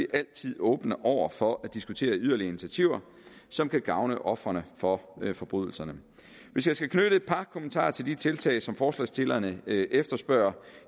altid åbne over for at diskutere yderligere initiativer som kan gavne ofre for forbrydelser hvis jeg skal knytte et par kommentarer til de tiltag som forslagsstillerne efterspørger